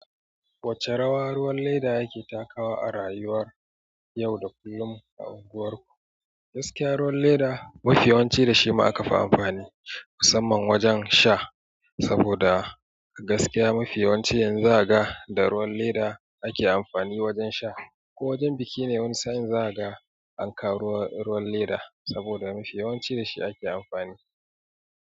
Wacce rawa ruwan leda yake takawa a rayuwar yau da kullum a unguwarku? Gaskiya ruwan leda mafiyawanci da shi ma aka fi amfani musamman wajen sha saboda a gaskiya mafiyawanci yanzu zaka ga da ruwan leda ake amfani wajen sha ko wajen biki ne wani sa'in za a ga an kawo ruwan leda saboda mafiyawanci da shi ake amfani.